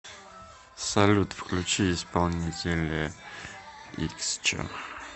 салют включи исполнителя иксчо